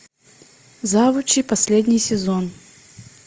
завучи последний сезон